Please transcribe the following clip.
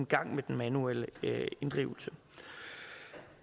gang med den manuelle inddrivelse